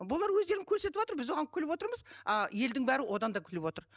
бұлар өздерін көрсетіватыр біз оған күліп отырмыз а елдің бәрі одан да күліп отыр